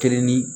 Kelen ni